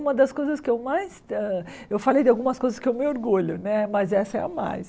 Uma das coisas que eu mais eh... Eu falei de algumas coisas que eu me orgulho né, mas essa é a mais.